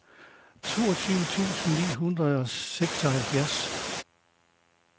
toogtyve tusind ni hundrede og seksoghalvfjerds